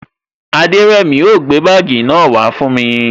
Aderemi o gbé bagii náà wa fún mi